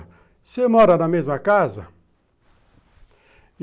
Você mora na mesma casa?